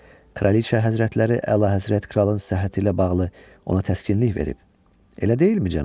Kraliçə həzrətləri əlahəzrət Kralın səhhəti ilə bağlı ona təskinlik verib, elə deyilmi, cənab?